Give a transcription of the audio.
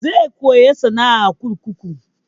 Zai koya sana'a a kurkuku.